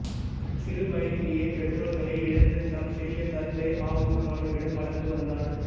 சிறு வயதிலேயே பெற்றோர்களை இழந்து தம் சிறிய தந்தை அபூ தாலிபிடம் வளர்ந்து வந்தார்